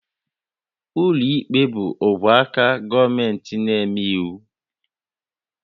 Ụlọikpe bụ ogwe aka gọọmentị na-eme iwu